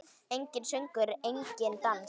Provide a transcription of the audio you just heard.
Enginn söngur, enginn dans.